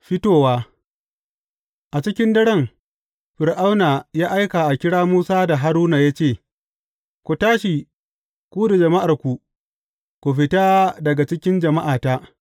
Fitowa A cikin daren, Fir’auna ya aika a kira Musa da Haruna ya ce, Ku tashi, ku da jama’arku, ku fita daga cikin jama’ata.